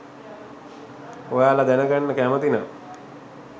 ඔයාල දැනගන්න කැමති නම්